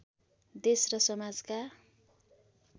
देश र समाजका